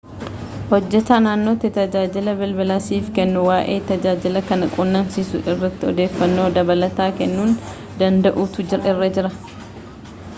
hojjetaan naannootti tajaajila bilbilaa siif kennu waa'ee tajaajila kana quunnamsiisuu irratti odeeffannoo dabalataa kennuu danda'uutu irra jira